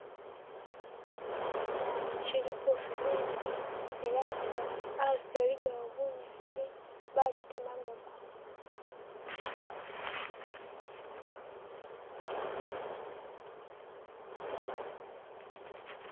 kisala kiliko fenesi elenga asi aligawo bunyasi bushitemagako.